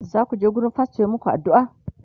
zaku je wurin fastor ya maku addu'a?